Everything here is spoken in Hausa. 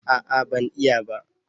A'a ban iya ba